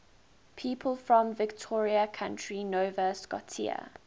people from victoria county nova scotia